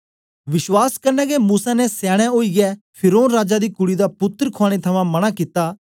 विश्वास कन्ने गै मूसा ने सयाने ओईयै फिरौन राजा दी कुड़ी दा पुत्तर खुआने थमां मना कित्ता